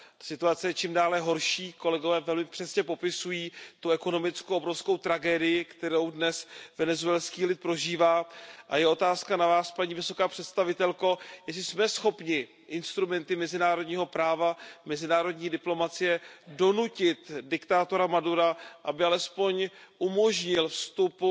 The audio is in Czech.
Situace je čím dál horší, kolegové velmi přesně popisují ekonomickou a obrovskou tragédii, kterou dnes venezuelský lid prožívá, a je otázka na Vás, paní vysoká představitelko, jestli jsme schopni instrumenty mezinárodního práva, mezinárodní diplomacie donutit diktátora Madura, aby alespoň umožnil vstup